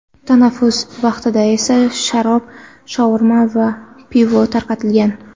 Tanaffus vaqtida esa sharob, shaurma va pivo tarqatilgan.